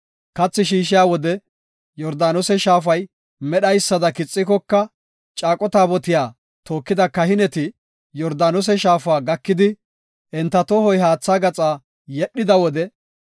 Kathi shiishiya wode Yordaanose shaafay medhaysada kixikoka, caaqo taabotiya tookida kahineti Yordaanose shaafa gakidi, enta tohoy haatha gaxa yedhida wode,